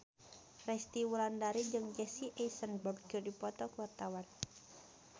Resty Wulandari jeung Jesse Eisenberg keur dipoto ku wartawan